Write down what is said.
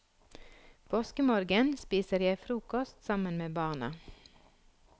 Påskemorgen spiser jeg frokost sammen med barna.